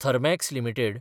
Thermax limited